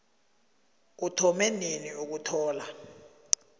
uthome nini ukuthola